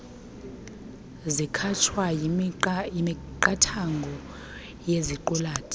zikhatshwa yimiqathango yeziqulathi